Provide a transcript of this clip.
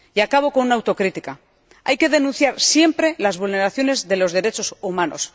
Y acabo con una autocrítica hay que criticar siempre las vulneraciones de los derechos humanos.